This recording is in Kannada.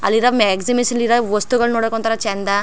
ಅಲ್ಲಿರೋ ಎಕ್ಸಿಬಿಷನ್ ಇರೋ ವಸ್ತುಗಳು ನೋಡಕ್ ಒಂತರ ಚಂದ್.